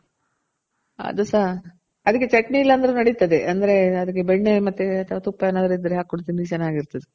ಅದು ಸಹ ಅದಕ್ಕೆ ಚಟ್ನಿ ಇಲ್ಲ ಅಂದ್ರು ನಡಿತದೆ ಅಂದ್ರೆ ಅದಕ್ಕೆ ಬೆಣ್ಣೆ ಮತ್ತೆ ಅಥವಾ ತುಪ್ಪ ಏನಾದ್ರು ಇದ್ರೆ ಹಾಕೊಂಡ್ ತಿಂದ್ರೆ ಚೆನಾಗಿರ್ತದೆ